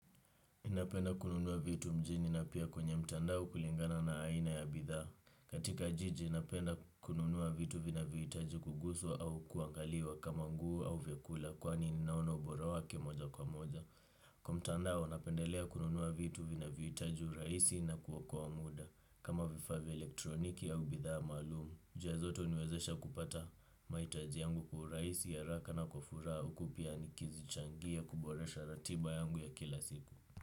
Napenda kununua vitu mjini na pia kwenye mtandao kulingana na aina ya bidhaa. Katika jiji, napenda kununua vitu vinahitaji kuguswa au kuangaliwa kama nguo au vyakula kwani ninaona ubora wake moja kwa moja. Kwa mtandao, napendelea kununua vitu vinavyohitaji urahisi na kuokoa muda kama vifaa vya elektroniki au bidhaa maalumu. Njia zote huniwezesha kupata mahitaji yangu kwa urahisi haraka na kwa furaha huku pia nikizichangia kuboresha ratiba yangu ya kila siku.